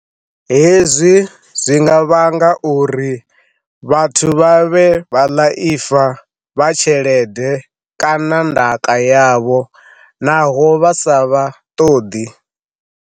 He zwi zwi nga vhanga uri vhathu vha vhe vhaḽaipfa vha tshelede kana ndaka yavho, naho vha sa vha ṱoḓi.